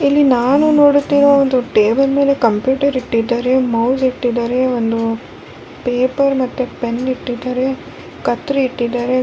ಇಲ್ಲಿ ನಾನು ನೋಡುತ್ತಿರುವ ಒಂದು ಟೇಬಲ್ ಮೇಲೆ ಕಂಪ್ಯೂಟರ್ ಇಟ್ಟಿದ್ದಾರೆ ಮೌಸ್ ಇಟ್ಟಿದ್ದಾರೆ ಒಂದು ಪೇಪರ್ ಮತ್ತು ಪೆನ್ನ್ ಇಟ್ಟಿದ್ದಾರೆ ಕತ್ರಿ ಇಟ್ಟಿದ್ದಾರೆ.